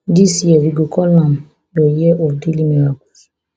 dis year we go call am your year of daily miracles